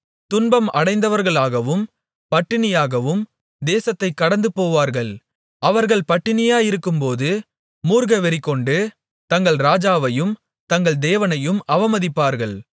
துன்பம் அடைந்தவர்களாகவும் பட்டினியாகவும் தேசத்தைக் கடந்துபோவார்கள் அவர்கள் பட்டினியாயிருக்கும்போது மூர்க்கவெறிகொண்டு தங்கள் ராஜாவையும் தங்கள் தேவனையும் அவமதிப்பார்கள்